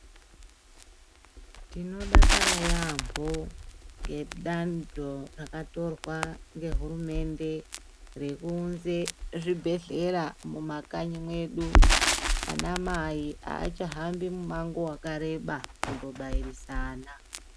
Tinodakara yaambo ngedando rakatorwa ngehurumende rekuunze zvibhedhlera mumakanyi mwedu anamai aachahambi mumango wakareba kundobayirisa ana.